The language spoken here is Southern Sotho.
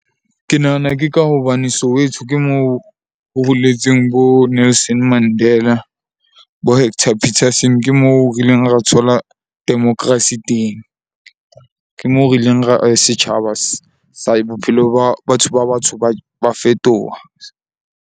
Ke nahana ke ka hobane Soweto ke moo ho holetseng bo Nelson Mandela bo Hector Peterson. Ke moo re ileng ra thola democracy teng. Ke moo re ileng ra setjhaba sa bophelo ba batho ba batsho ba fetoha.